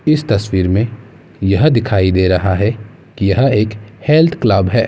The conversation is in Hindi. इस तस्वीर में यह दिखाई दे रहा है की यह एक हेल्थ क्लब है।